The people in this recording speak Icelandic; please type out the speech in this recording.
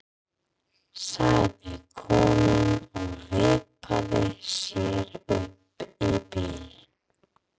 sagði konan og vippaði sér upp í bílinn.